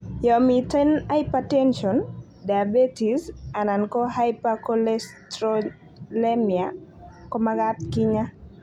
Yon miten hypertension, diabetes anan ko hypercholesterolemia komagat kinyaa